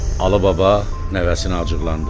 Alı baba nəvəsinə acıqlandı.